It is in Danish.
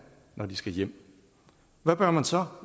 når de skal hjem hvad bør man så